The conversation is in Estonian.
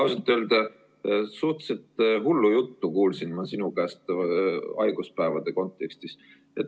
Ausalt öelda, suhteliselt hullu juttu kuulsin ma sinu käest haiguspäevade kontekstis.